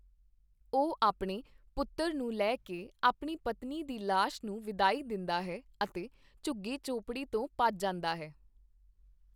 ਉਹ ਆਪਣੇ ਪੁੱਤਰ ਨੂੰ ਲੈ ਕੇ, ਆਪਣੀ ਪਤਨੀ ਦੀ ਲਾਸ਼ ਨੂੰ ਵਿਦਾਈ ਦਿੰਦਾ ਹੈ ਅਤੇ ਝੁੱਗੀ ਝੌਂਪੜੀ ਤੋਂ ਭੱਜ ਜਾਂਦਾ ਹੈ।